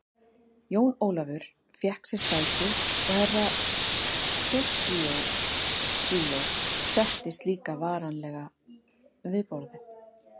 Jón Ólafur fékk sér sæti og Herra Toshizo settist líka varlega við borðið.